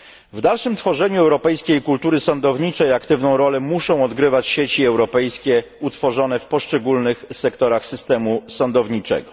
W dalszym tworzeniu europejskiej kultury sądowniczej aktywną rolę muszą odgrywać sieci europejskie utworzone w poszczególnych sektorach systemu sądowniczego.